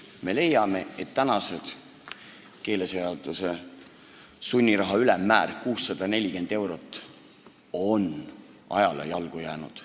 Me leiame, et tänane keeleseaduses sätestatud sunniraha ülemmäär 640 eurot on ajale jalgu jäänud.